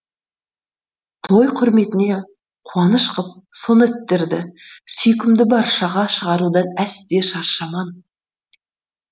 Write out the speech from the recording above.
той құрметіне қуаныш қып сонеттерді сүйкімді баршаға шығарудан әсте шаршаман